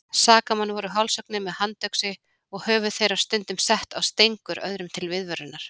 Sakamenn voru hálshöggnir með handöxi og höfuð þeirra stundum sett á stengur öðrum til viðvörunar.